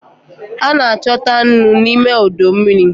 A na-achọta nnu n'ime ọdọ mmiri.